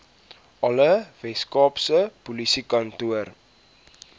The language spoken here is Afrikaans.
alle weskaapse polisiekantore